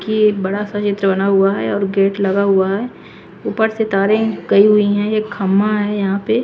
की एक बड़ा सा चित्र बना हुआ हैं और गेट लगा हुआ हैं ऊपर से तारे गयी हुई हैं एक खम्मा हैं यहाँ पर--